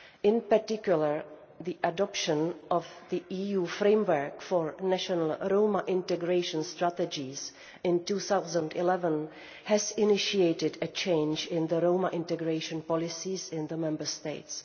In particular, the adoption of the EU Framework for National Roma Integration Strategies in 2011 initiated a change in Roma integration policies in the Member States.